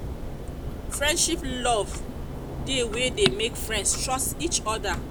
friendship love de wey de make friends trust each other other